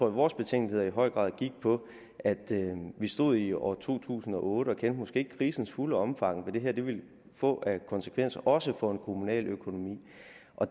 at vores betænkeligheder i høj grad gik på at vi stod i år to tusind og otte og måske ikke kendte krisens fulde omfang og det her ville få af konsekvenser også for en kommunal økonomi